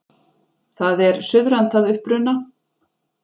Það er suðrænt að uppruna